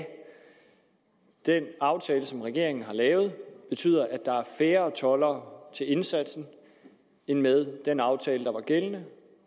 den aftale som regeringen har lavet betyder at der er færre toldere til indsatsen end ved den aftale der var gældende